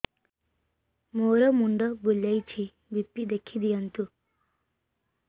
ମୋର ମୁଣ୍ଡ ବୁଲେଛି ବି.ପି ଦେଖି ଦିଅନ୍ତୁ